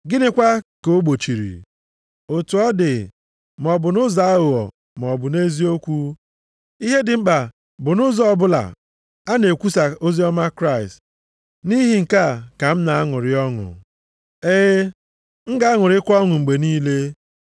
Gịnịkwa ka ogbochiri? Otu ọ dị, maọbụ nʼụzọ aghụghọ maọbụ nʼeziokwu, ihe dị mkpa bụ nʼụzọ ọbụla a na-ekwusa oziọma Kraịst, nʼihi nke a ka m na-aṅụrị ọṅụ. E, m ga-aṅụrịkwa ọṅụ mgbe niile.